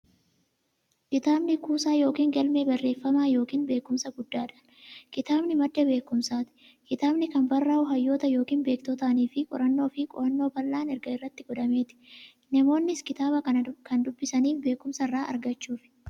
Kitaabni kuusaa yookiin galmee barreeffamaa yookiin beekumsaa guddaadhan. Kitaabni madda beekumsaati. Kitaabni kan barraa'u hayyoota yookiin beektotaanifi qorannoo fi qo'annoo bal'aan erga irratti godhameeti. Namoonnis kitaaba kan dubbisaniif beekumsa irraa argachuuf.